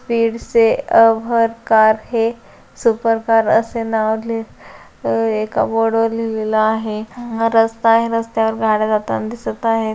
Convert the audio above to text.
Speed से अब हर कार है सुपर कार असे नाव ली-अह एका बोर्डवर लिहलेल आहे हा रस्ता आहे रस्त्यावर गाड्या जाताना दिसत आहेत.